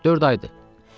Dörd aydır.